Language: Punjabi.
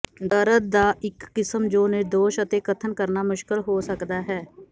ਦਰਦ ਦਾ ਇਕ ਕਿਸਮ ਜੋ ਨਿਰਦੋਸ਼ ਅਤੇ ਕਥਨ ਕਰਨਾ ਮੁਸ਼ਕਲ ਹੋ ਸਕਦਾ ਹੈ